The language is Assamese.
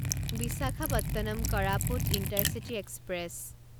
Visakhapatnam Koraput intercity express